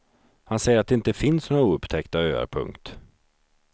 Han säger att det inte finns några oupptäckta öar. punkt